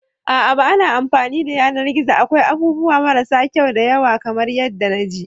A'a ba na amfani da yanar gizo akwai abubuwa marasa kyau da yawa kamar yadda na ji.